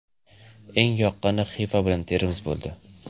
Eng yoqqani Xiva bilan Termiz bo‘ldi.